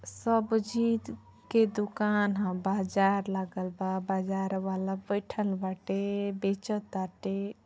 सब्जी द् के दुकान ह। बाजार लागल बा। बाजार वाला बईठल बाटे बेच ताटे।